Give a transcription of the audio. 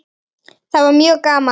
Það var mjög gaman.